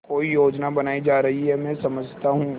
कोई योजना बनाई जा रही है मैं सब समझता हूँ